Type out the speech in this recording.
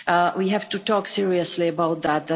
We have to talk seriously about that